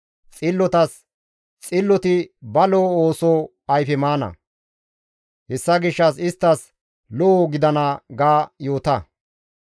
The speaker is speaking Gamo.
Xillotas, «Xilloti ba lo7o ooso ayfe maana; hessa gishshas isttas lo7o gidana» ga yoota.